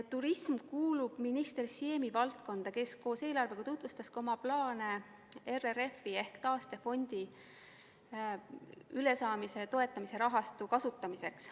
Turism kuulub minister Siemi valdkonda, kes koos eelarvega tutvustas oma plaane RRF-i ehk taastefondi kriisist ülesaamise toetamise rahastu kasutamiseks.